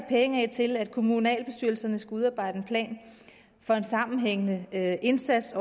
penge af til at kommunalbestyrelserne skal udarbejde en plan for en sammenhængende indsats